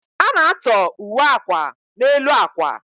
A na-atọ uwe akwa n'elu akwa